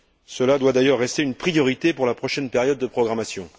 Cela doit d'ailleurs rester une priorité pour la prochaine période de programmation.